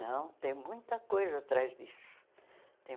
Não, tem muita coisa atrás disso. Tem